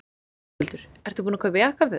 Höskuldur: Ertu búinn að kaupa jakkaföt?